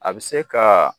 A bɛ se ka